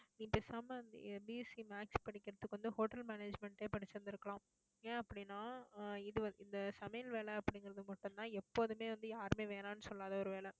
நீ பேசாம BSCmaths படிக்கிறதுக்கு வந்து, hotel management ஏ படிச்சிருந்திருக்கலாம். ஏன் அப்படின்னா ஆஹ் இது இந்த சமையல் வேலை அப்படிங்கறது மட்டும்தான் எப்போதுமே வந்து, யாருமே வேணாம்ன்னு சொல்லாத ஒரு வேலை